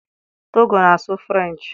Togo na-asụ French.